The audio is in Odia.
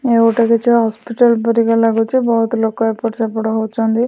ଏ ଗୋଟେ କିଛି ହସ୍ପିଟାଲ୍ ପରିକା ଲାଗୁଛି ବହୁତ ଲୋକ ଏପଟ ସେପଟ ହଉଛନ୍ତି ।